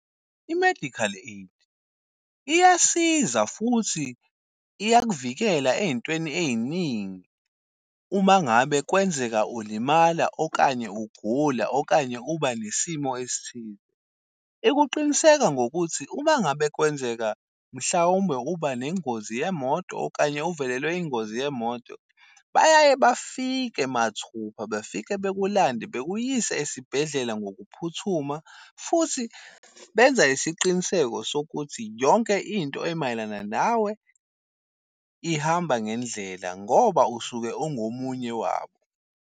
I-medical aid iyasiza futhi iyakuvikela ey'ntweni ey'ningi, uma ngabe kwenzeka ulimala okanye ugula okanye uba nesimo esithize. Ikuqiniseka ngokuthi uma ngabe kwenzeka mhlawumbe uba nengozi yemoto okanye uvelelwe ingozi yemoto. Bayaye bafike mathupha befike bekulande bekuyise esibhedlela ngokuphuthuma. Futhi benza isiqiniseko sokuthi yonke into emayelana nawe ihamba ngendlela ngoba usuke ungomunye wabo.